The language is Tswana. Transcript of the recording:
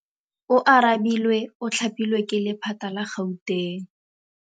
Oarabile o thapilwe ke lephata la Gauteng.